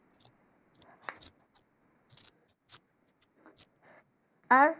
আর